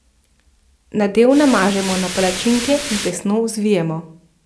Nadev namažemo na palačinke in tesno zvijemo.